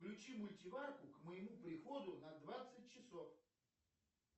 включи мультиварку к моему приходу на двадцать часов